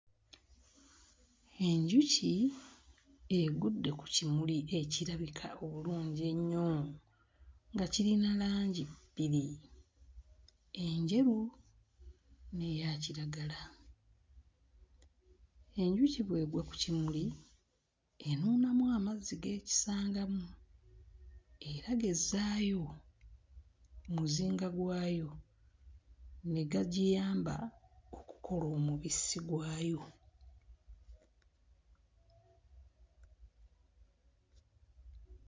Enjuki egudde ku kimuli ekirabika obulungi ennyo nga kirina langi bbiri: enjeru n'eya kiragala. Enjuki bw'egwa ku kimuli enuunamu amazzi g'ekisangamu era g'ezzaayo mu muzinga gwayo ne gagiyamba okukola omubisi gwayo.